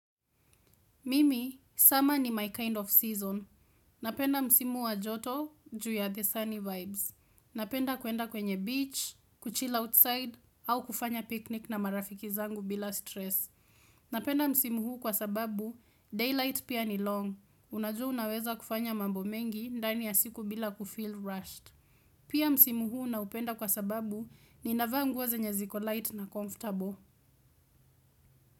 Mimi, summer ni my kind of season. Napenda msimu wa joto, juu ya the sunny vibes. Napenda kuenda kwenye beach, kuchill outside, au kufanya picnic na marafiki zangu bila stress. Napenda msimu huu kwa sababu, daylight pia ni long. Unajua unaweza kufanya mambo mengi, ndani ya siku bila kufill rushed. Pia msimu huu na upenda kwa sababu, ninavaa nguo zenye ziko light na comfortable.